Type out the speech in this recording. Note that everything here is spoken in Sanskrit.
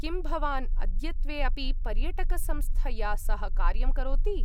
किं, भवान् अद्यत्वे अपि पर्यटकसंस्थया सह कार्यं करोति?